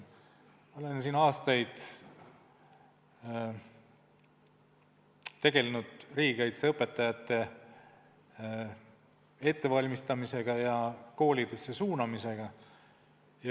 Ma olen siin aastaid tegelenud riigikaitseõpetajate ettevalmistamisega ja koolidesse suunamisega.